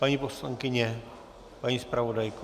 Paní poslankyně, paní zpravodajko.